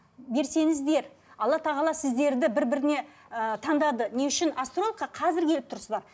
берсеңіздер алла тағала сіздерді бір біріне ы таңдады не үшін астрологқа қазір келіп тұрсыздар